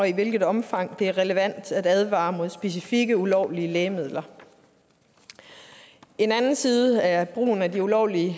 i hvilket omfang det er relevant at advare mod specifikke ulovlige lægemidler en anden side af brugen af de ulovlige